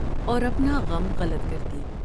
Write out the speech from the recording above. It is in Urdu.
اور اپنا غم غلط کرتی ۔